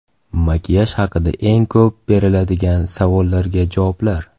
Makiyaj haqida eng ko‘p beriladigan savollarga javoblar.